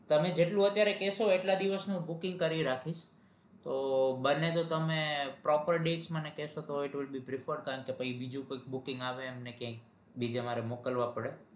તમે જેટલું અત્યારે કેશો એટલા દિવસ નું booking કરી રાખીસ તો બને તો તમને proper date મને કેસો તોય booking આવે એમને ક્યાંક એમને બીજે મારે મોકલવા પડે